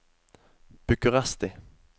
Bucuresti